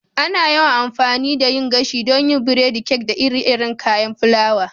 Ana yawan amfani da yin gashi don yin biredi, kek, da ire-iren kayan fulawa.